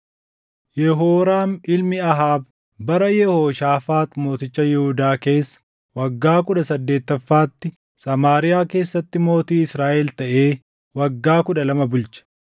Yehooraam ilmi Ahaab bara Yehooshaafaax mooticha Yihuudaa keessa waggaa kudha saddeettaffaatti Samaariyaa keessatti mootii Israaʼel taʼee waggaa kudha lama bulche.